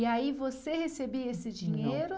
E aí você recebia esse dinheiro?